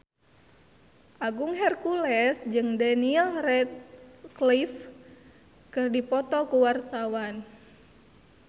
Agung Hercules jeung Daniel Radcliffe keur dipoto ku wartawan